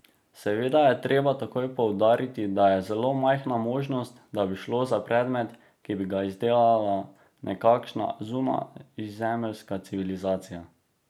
Seveda je treba takoj poudariti, da je zelo majhna možnost, da bi šlo za predmet, ki bi ga izdelala nekakšna zunajzemeljska civilizacija.